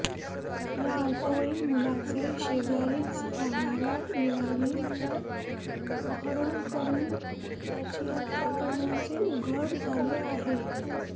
या अल्पवयीन मुलाचे शेजारीच राहणाऱया युवकाने अपहरण करून त्याची हत्या केल्याचे उघड झाले आहे